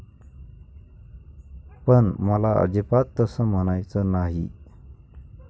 पण मला अजिबात तसं म्हणायचं नाही.